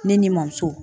Ne ni bamuso